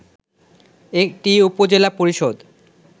এটি উপজেলা পরিষদ